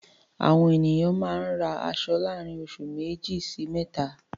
Àwọn ènìyàn máa ń ra aṣọ láàrin oṣù méjì sí mẹ́ta.